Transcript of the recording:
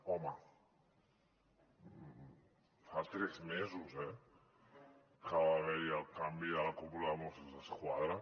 home fa tres mesos eh que va haver hi el canvi a la cúpula de mossos d’esquadra